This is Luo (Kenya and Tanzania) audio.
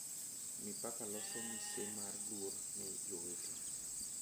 Mipaka loso misemar luor ne jowete